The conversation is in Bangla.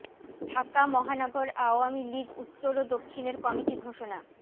ঢাকা মহানগর আওয়ামী লীগ উত্তর ও দক্ষিণের কমিটি ঘোষণা